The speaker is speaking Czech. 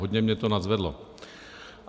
Hodně mě to nadzvedlo.